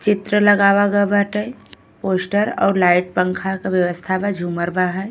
चित्र लगाव गए बाटे पोस्टर अउर लाइट पंखा के व्यवस्था बा झूमर बा हैं।